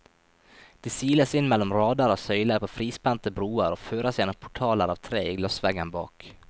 De siles inn mellom rader av søyler på frispente broer, og føres gjennom portaler av tre i glassveggen bak.